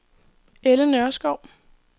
Elly Nørskov